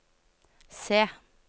se